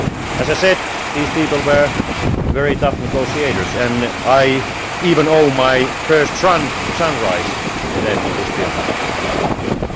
As I said, these people were very tough negotiators, and I even owe my first sunrise in this building to them!